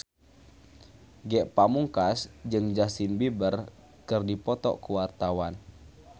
Ge Pamungkas jeung Justin Beiber keur dipoto ku wartawan